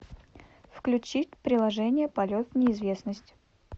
включить приложение полет в неизвестность